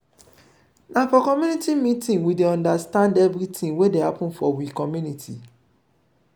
na for community meeting we dey understand everytin wey dey happen for we community.